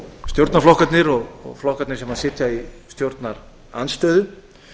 stjórnarflokkarnir og flokkarnir sem sitja í stjórnarandstöðu